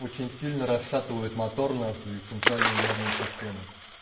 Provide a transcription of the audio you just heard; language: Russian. очень сильно расшатывают мотор нахуй и центральную нервную систему